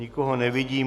Nikoho nevidím.